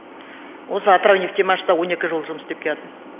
осы атырау нефтемашта он екі жыл жұмыс істеп келатым